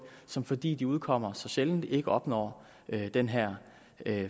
som fordi de udkommer så sjældent ikke opnår den her